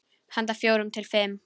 Handa fjórum til fimm